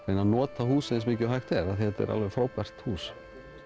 reyna að nota húsið eins mikið og hægt er því þetta er alveg frábært hús